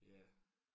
Ja